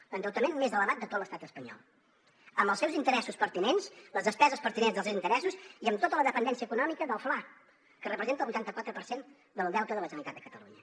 és l’endeutament més elevat de tot l’estat espanyol amb els seus interessos pertinents les despeses pertinents dels interessos i amb tota la dependència econòmica del fla que representa el vuitanta quatre per cent del deute de la generalitat de catalunya